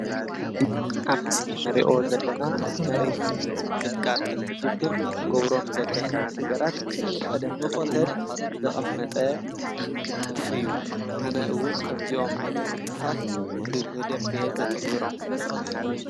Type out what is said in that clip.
እዚ ምስሊ መሬት ምንቅጥቃጥ እንተጋጥም ክንገብሮም ዝግቡኡና ጥንቃቀ እዮም።